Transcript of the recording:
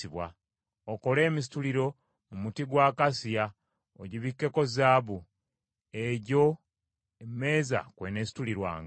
Okole emisituliro mu muti gwa akasiya, ogibikkeko zaabu, egyo emmeeza kw’eneesitulirwanga.